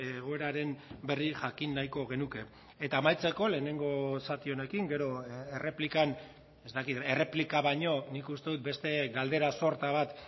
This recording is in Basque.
egoeraren berri jakin nahiko genuke eta amaitzeko lehenengo zati honekin gero erreplikan ez dakit erreplika baino nik uste dut beste galdera sorta bat